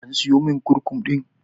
An siyomin kurkum ɗin?